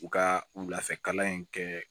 U ka lafɛkalan in kɛ